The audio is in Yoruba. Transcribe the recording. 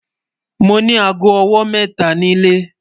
Mo ni àágọ́ ọwọ́ mẹ́ta ni ilẹ̀